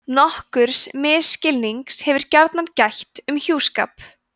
nokkurs misskilnings hefur gjarnan gætt um hjúskap